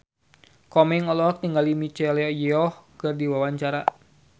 Komeng olohok ningali Michelle Yeoh keur diwawancara